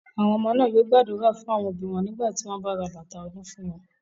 Àwọn ọmọ náà yóò gbàdúrà fún àwọn òbí wọn nígbà tí wọ́n bá ra bàtà ọdún fún wọn.